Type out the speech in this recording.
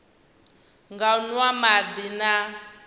nga u nwa madi na